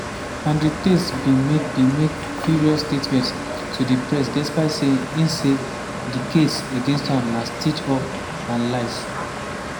andrew tate bin make bin make furious statement to di press despite say im say di case against am as a "stitch-up" and lies.